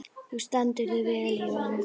Þú stendur þig vel, Ívan!